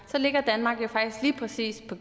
ligger danmark faktisk lige præcis på